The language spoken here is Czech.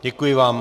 Děkuji vám.